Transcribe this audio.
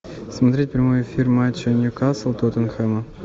смотреть прямой эфир матча ньюкасл тоттенхэма